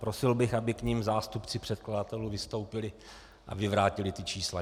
Prosil bych, aby k nim zástupci předkladatelů vystoupili a vyvrátili ta čísla.